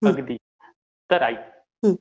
अगदी. तर ऐक.